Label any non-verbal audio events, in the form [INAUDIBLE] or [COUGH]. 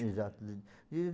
Exato. [UNINTELLIGIBLE]